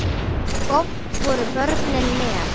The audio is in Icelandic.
Oft voru börnin með.